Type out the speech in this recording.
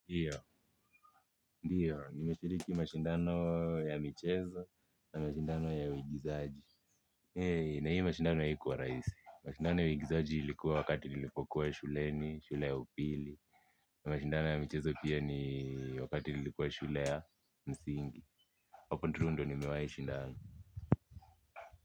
Pia ndio nimeshiriki mashindano ya michezo na mashindano ya uigizaji. Hei. Na hiyo mashindano haikuwa rahisi. Mashindano ya uigizaji ilikuwa wakati nilipokuwa ya shuleni shule ya upili. Na mashindano ya michezo pia ni wakati nilikuwa ya shule ya msingi. Huko tu ndio nimewahi shindana.